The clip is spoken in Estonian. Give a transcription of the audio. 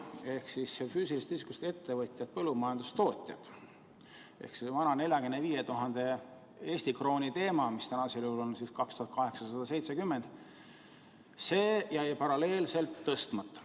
Ehk siis füüsilisest isikust ettevõtjatel, põllumajandustootjatel jäi see vanas vääringus 45 000 Eesti krooni, mis praegusel juhul on 2870 eurot, paralleelselt tõstmata.